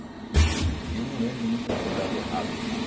E eu não lembro de nunca ter dado errado, errado.